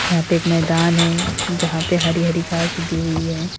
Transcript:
यहां पे एक मैदान है जहां पे हरी हरी घास उगी हुई है।